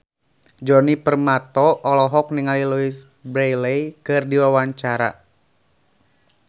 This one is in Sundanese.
Djoni Permato olohok ningali Louise Brealey keur diwawancara